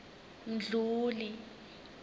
mdluli